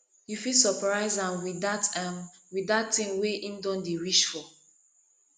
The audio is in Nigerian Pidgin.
yu fit soprise am wit dat am wit dat tin wey em don dey wish for